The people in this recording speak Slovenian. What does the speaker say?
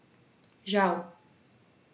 Žal.